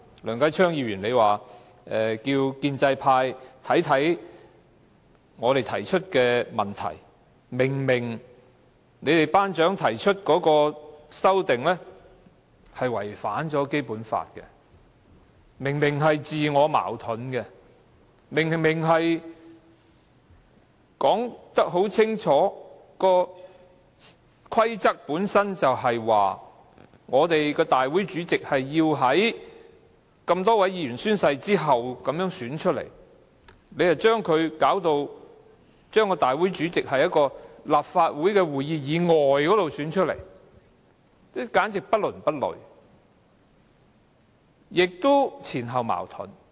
梁繼昌議員建議建制派研究我們提出的問題，例如他們的"班長"提出的修訂建議違反《基本法》且自我矛盾，《議事規則》已清楚訂明立法會主席是由眾多議員宣誓後推選出來的，但他們卻把立法會主席變成是在立法會會議以外選出的，簡直不倫不類，而且前後矛盾。